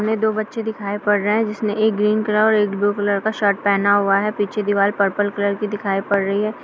सामने दो बच्चे दिखाई पड़ रहे हैं जिसमें एक ग्रीन कलर एक ब्लू कलर का शर्ट पहना हुआ है| पीछे दीवार पर्पल कलर की दिखाई पड़ रही है।